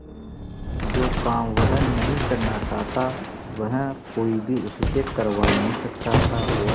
जो काम वह नहीं करना चाहता वह कोई भी उससे करवा नहीं सकता था और